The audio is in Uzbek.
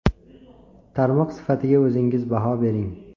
Tarmoq sifatiga o‘zingiz baho bering.